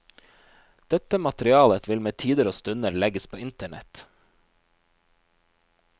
Dette materialet vil med tider og stunder legges på internett.